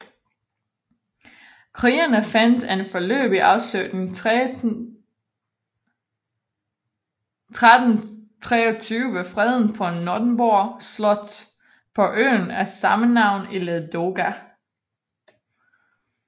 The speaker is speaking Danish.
Krigene fandt en foreløbig afslutning 1323 ved freden på Nöteborg slot på øen af sammenavn i Ladoga